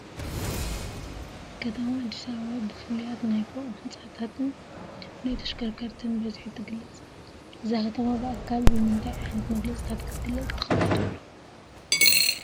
ከተማ ኣዲስ ኣባባ ብፍሉያት ናይ ፎቅ ህንፃታትን ብናይ ተሽከርከርትን ብዝሒ ትግለፅ፡፡ እዛ ከተማ ብካልእ ብምንታይ ዓይነት መግለፂታት ክትግለፅ ትኽእል ትብሉ?